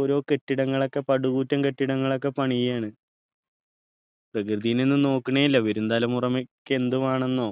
ഓരോ കെട്ടിടങ്ങളൊക്കെ പടുകൂറ്റൻ കെട്ടിടങ്ങളൊക്കെ പണിയാണ്‌ പ്രകൃതിനൊന്നും നോക്കണെയില്ല വരും തലമുറയ്ക്ക് എന്തുവേണന്നോ